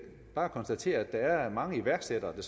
bare konstatere at der er mange iværksættere der